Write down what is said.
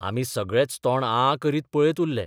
आमी सगळेच तोंड आं करीत पळयत उरले....